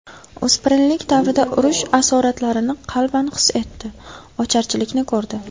O‘spirinlik davrida urush asoratlarini qalban his etdi, ocharchilikni ko‘rdi.